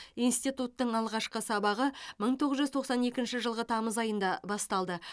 институттың алғашқы сабағы мың тоғыз жүз тоқсан екінші жылғы тамыз айында басталды